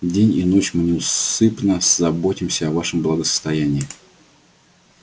день и ночь мы неусыпно заботимся о вашем благосостоянии